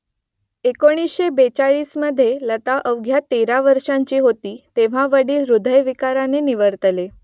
एकोणीसशे बेचाळीसमधे लता अवघ्या तेरा वर्षांची होती तेव्हा वडील हृदयविकाराने निवर्तले